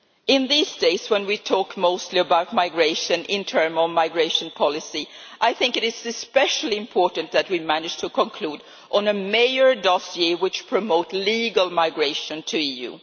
In these days when we talk mostly about migration internal migration policy I think it is especially important that we manage to conclude on a major dossier which promotes legal migration to the EU.